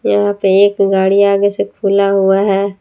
यहां पे एक गाड़ी आगे से खुला हुआ है।